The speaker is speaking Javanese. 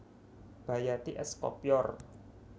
Bayati es Kopyor